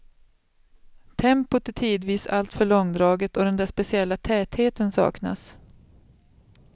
Tempot är tidvis alltför långdraget och den där speciella tätheten saknas.